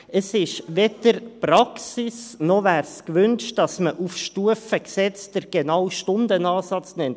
Es ist weder Praxis noch wäre es gewünscht, dass man auf Stufe Gesetz den genauen Stundenansatz nennt.